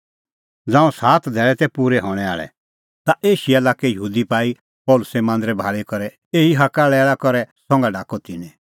ज़ांऊं सात धैल़ै तै पूरै हणैं आल़ै ता एशिया लाक्के यहूदी पाई पल़सी मांदरै भाल़ी करै एही हाक्कालैल़ा करै संघा ढाकअ तिन्नैं